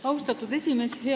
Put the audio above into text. Austatud esimees!